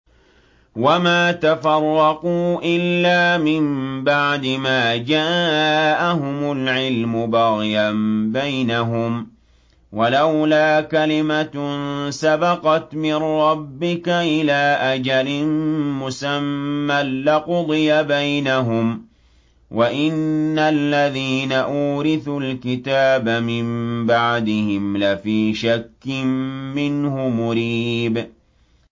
وَمَا تَفَرَّقُوا إِلَّا مِن بَعْدِ مَا جَاءَهُمُ الْعِلْمُ بَغْيًا بَيْنَهُمْ ۚ وَلَوْلَا كَلِمَةٌ سَبَقَتْ مِن رَّبِّكَ إِلَىٰ أَجَلٍ مُّسَمًّى لَّقُضِيَ بَيْنَهُمْ ۚ وَإِنَّ الَّذِينَ أُورِثُوا الْكِتَابَ مِن بَعْدِهِمْ لَفِي شَكٍّ مِّنْهُ مُرِيبٍ